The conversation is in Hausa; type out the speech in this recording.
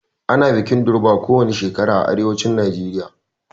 Ana bikin durbar kowani shekara a arewacin Najeriya